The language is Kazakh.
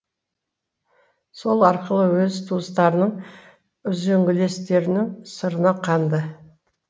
сол арқылы өз туыстарының үзеңгілестерінің сырына қанды